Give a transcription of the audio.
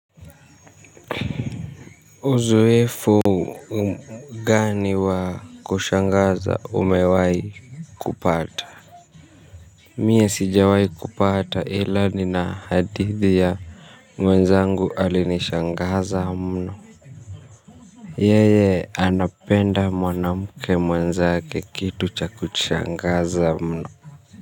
Uzoefu gani wa kushangaza umewai kupata. Mie sijawai kupata ilani na hadithi ya mwenzangu alinishangaza mno. Yeye anapenda mwanamuke mwenzake kitu cha kushangaza mno.